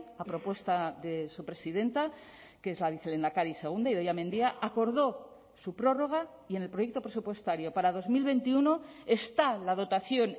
a propuesta de su presidenta que es la vicelehendakari segunda idoia mendia acordó su prórroga y en el proyecto presupuestario para dos mil veintiuno está la dotación